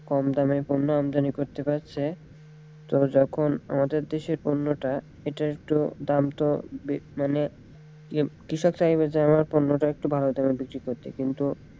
কম দামে পণ্য আমদানি করতে পারছে তো যখন আমাদের দেশের পণ্যটা এটা একটু দাম তো মানে কৃষক চাইবে যে আমার পণ্যটা একটু ভালো দামে দাও বিক্রি করতে কিন্তু,